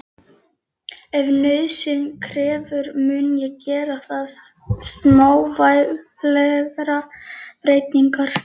Ef nauðsyn krefur mun ég gera þar smávægilegar breytingar.